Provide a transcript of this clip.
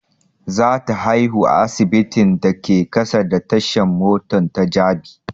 Za ta haihu a asibitin da ke kusa da tashan mota ta jabi